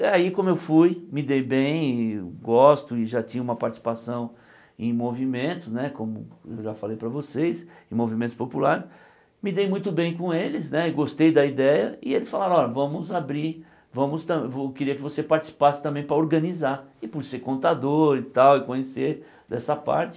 E aí, como eu fui, me dei bem e, gosto e já tinha uma participação em movimentos né, como eu já falei para vocês, em movimentos populares, me dei muito bem com eles né, e gostei da ideia e eles falaram, olha, vamos abrir, vamos tam queria que você participasse também para organizar, e por ser contador e tal, e conhecer dessa parte.